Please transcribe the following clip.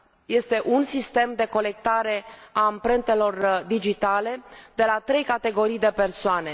Este un sistem de colectare a amprentelor digitale de la trei categorii de persoane